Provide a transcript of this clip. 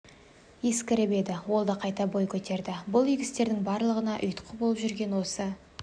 ескіріп еді ол да қайта бой көтерді бұл игі істердің барлығына ұйытқы болып жүрген осы